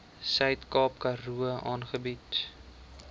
suidkaap karoo aangebied